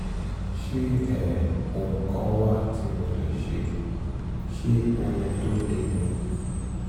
ṣé um ohun kan wà tí mo lè ṣe? ṣé ohun tó le ni?